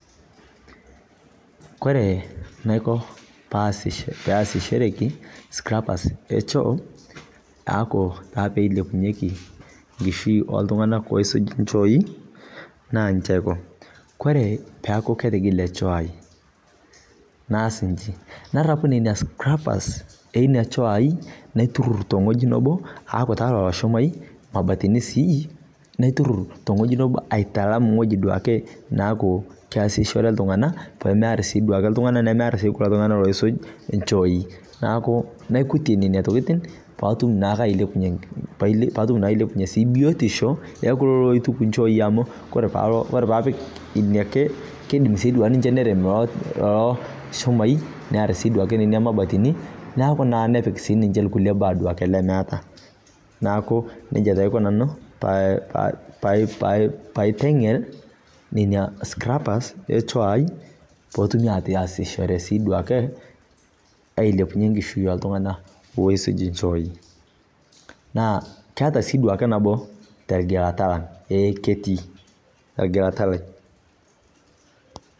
Kore naiko paasish paasishereki scrappers e choo aaku taa pilepunyieki nkishui oltung'anak oisuj inchoi naanji aiko kore peeku ketigile choo ai naas inji narapu nenia scrappers enia choo ai naiturrur tong'ueji nebo aaku taa lolo shumai mabatini sii naiturrur tong'ueji nebo aitalam iwoji duake naaku keasishore iltung'ana pemerr sii duake iltung'ana nemearr sii kulo tung'anak duake loisuj inchooi naaku naikutie nana tokiting paatum naake ailepunyie paatum naa ailepunyie sii biotisho ekuloloituku inchooi amu kore paalo kore paapik inia ake kidim sii duanche nerem iloo loo shumai nearr sidua nena mabatini naaku naa nepik sininche ilkulie baa duake lemeeta naaku nejia taa aiko nanu paa pai paiteng'el nenia scrappers e choo ai potumi ataasishore sii duake ailepunyie enkishui oltung'ana oisuj inchooi naa kaata sii duake nabo telgilata lang eh ketii elgilata lai.